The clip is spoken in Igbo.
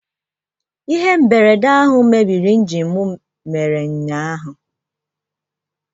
Ihe mberede ahụ mebiri injin m mere ụnyaahụ